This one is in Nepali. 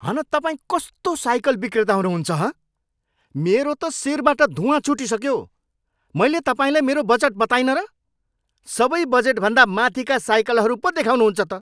हन तपाईँ कस्तो साइकल विक्रेता हुनुहुन्छ, हँ? मेरो त शिरबाट धुवाँ छुटिसक्यो। मैले तपाईँलाई मेरो बजेट बताइनँ र? सबै बजेटभन्दा माथिका साइकलहरू पो देखाउनुहुन्छ त?